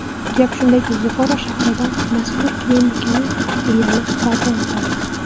Gap shundaki, Buxoro shahrida mazkur klinikaning filiali barpo etildi.